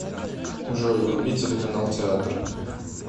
джой вруби телеканал театр